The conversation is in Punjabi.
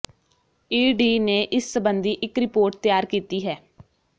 ਈਡੀ ਨੇ ਇਸ ਸਬੰਧੀ ਇਕ ਰਿਪੋਰਟ ਤਿਆਰ ਕੀਤੀ ਹੈ